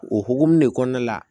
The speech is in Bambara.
O hokumu de kɔnɔna la